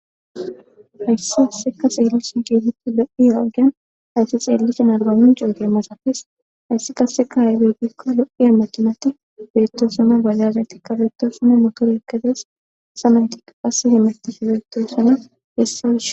Hayssa qassika xeellishe keehippe lo7idaagee tha etha xeellishin arbbbaamincce oge masathes;hayssi qassika aybe giikko lo7iya makiinathi beeththoosona;baajaajethikka beeththoosona;mothoreekka des;hayssa naythika qa hemethishe doosona; hessa miishsha.